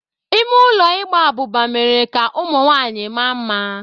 Ime ụlọ Ịgba abụba mere ka ụmụ nwanyị maa mma.